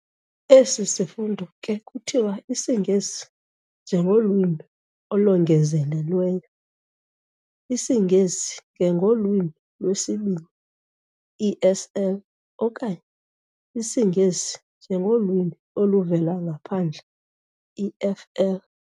Esi sifundo ke kuthiwa IsiNgesi njengolwimi olongezelelweyo, isiNgesi ngengolwimi lwesiBini, ESL, okanye isiNgesi njengolwimi oluvela ngaphandle, EFL.